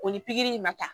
O ni pikiri in ma ta